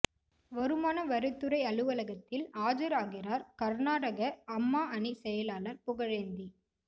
வருமான வரித்துறை அலுவலகத்தில் ஆஜராகிறார் கர்நாடக அம்மா அணி செயலாளர் புகழேந்தி